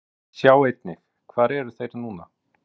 Sjá einnig: Hvar eru þeir núna?